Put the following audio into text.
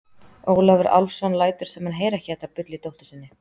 Ólafur Álfsson lætur sem hann heyri ekki þetta bull í dóttur sinni.